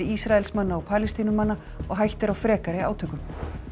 Ísraelsmanna og Palestínumanna og hætta er á frekari átökum